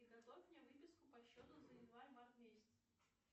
приготовь мне выписку по счету за январь март месяц